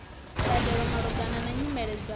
mbadelo malugana na nyimele dza